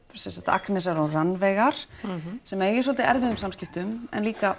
Agnesar og Rannveigar sem eiga í svolítið erfiðum samskiptum en líka